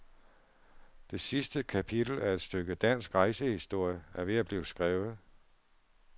Det sidste kapitel af et stykke dansk rejsehistorie er ved at blive skrevet.